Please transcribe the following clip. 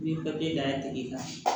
N'i ye papiye da tigi kan